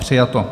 Přijato.